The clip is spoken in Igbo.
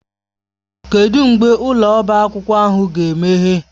Kedụ mgbe ụlọ ọbá akwụkwọ ahụ ga-emeghe?